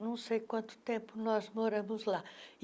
não sei quanto tempo nós moramos lá.